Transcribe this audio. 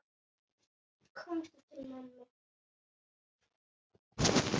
Komdu til mömmu.